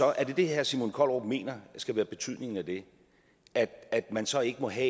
er det herre simon kollerup mener skal være betydningen af det at man så ikke må have